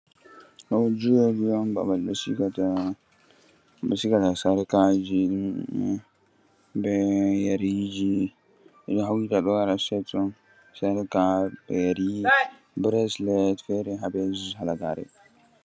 Ɗo juweri on babal ɓe sigata sarka ji, be yeri ji, ɓe ɗo hawta wara set on, sarka, yeri, bresles, fere ha ɓe halagare.